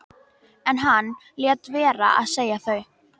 En hann lét vera að segja þau.